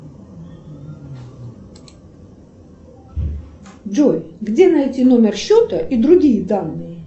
джой где найти номер счета и другие данные